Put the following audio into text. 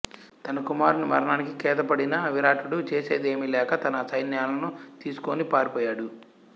తన కుమారుని మరణానికి ఖేదపడిన విరాటుడు చేసేది ఏమి లేక తన సైన్యాలను తీసుకుని పారిపోయాడు